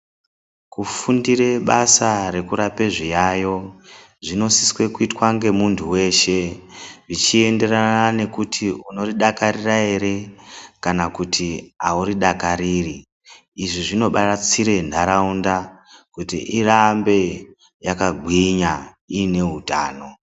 Kufundire basa rekurapa zviyayo zvinosise kuitwa ngemuntu veshe, zvichenderana nekuti unoridakarira ere, kana kuti hauri dakariri. Izvi zvinobatsire nharaunda kuti irambe yakagwinya ine hutano.